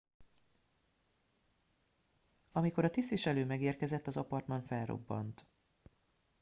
amikor a tisztviselő megérkezett az apartman felrobbant